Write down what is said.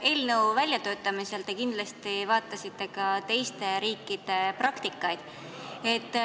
Eelnõu välja töötades te kindlasti uurisite ka teiste riikide praktikaid.